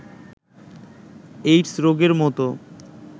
AIDS রোগের মতো